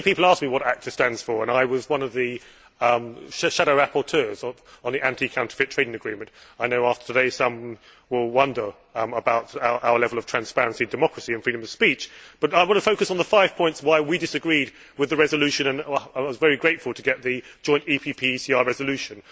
Many people ask me what ACTA stands for, and I was one of the shadow rapporteurs on the Anti Counterfeit Trading Agreement. I know after today some will wonder about our level of transparency, democracy and freedom of speech, but I want to focus on the five reasons why we disagreed with the resolution. I was very grateful to get the joint PPE ECR resolution.